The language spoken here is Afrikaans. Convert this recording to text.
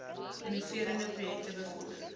innoverende projekte bevorder